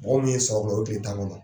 Mɔgɔw min ye sab o tile tan ŋɔnɔ